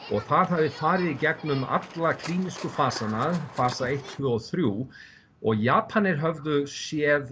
og það hafði farið í gegnum allar klínísku fasana fasa eins tvö og þrjú og Japanir höfðu séð